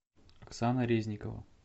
оксана резникова